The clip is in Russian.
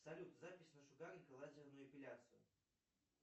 салют запись на шугаринг и лазерную эпиляцию